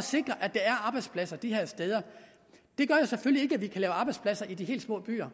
sikre at der er arbejdspladser de her steder det gør selvfølgelig kan lave arbejdspladser i de helt små byer